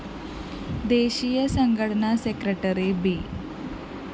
ദേശീയ സംഘടനാ secretary B